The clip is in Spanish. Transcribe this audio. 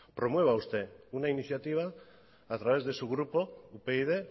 promueva usted una iniciativa a través de su grupo upyd